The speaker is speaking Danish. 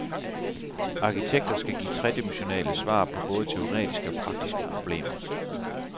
Arkitekter skal give tredimensionale svar på både teoretiske og praktiske problemer.